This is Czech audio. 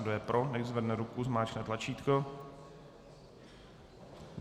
Kdo je pro, nechť zvedne ruku, zmáčkne tlačítko.